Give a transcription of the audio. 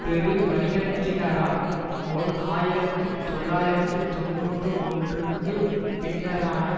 பெருவணிகத்தினரால் ஓர் ஆயிரத்தி தொள்ளாயிரத்து தொன்னூற்றி ஒன்றுக்கு பின்னரான